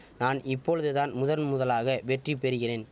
நான் இப்பொழுதுதான் முதன்முதல்யாக வெற்றி பெறிகிறேன்